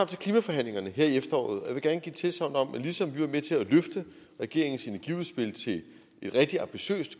til klimaforhandlingerne her i efteråret og jeg vil gerne give tilsagn om at ligesom vi var med til at løfte regeringens energiudspil til et rigtig ambitiøst